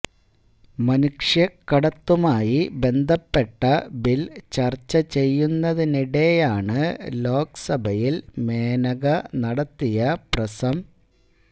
മനുഷ്യക്കടത്തുമായി ബന്ധപ്പെട്ട ബിൽ ചർച്ച ചെയ്യുന്നതിനിടെയാണ് ലോക്സഭയിൽ മേനക നടത്തിയ പ്രസം